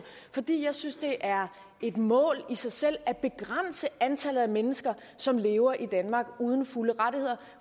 fordi jeg synes det er et mål i sig selv at begrænse antallet af mennesker som lever i danmark uden fulde rettigheder